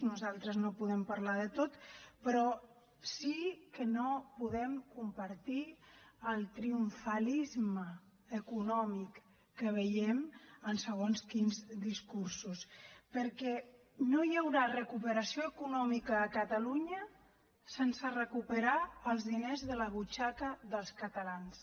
nosaltres no podem parlar de tot però sí que no podem compartir el triomfalisme econòmic que veiem en segons quins discursos perquè no hi haurà recuperació econòmica a catalunya sense recuperar els diners de la butxaca dels catalans